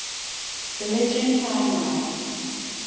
religion timelines